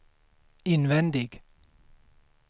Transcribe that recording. invändig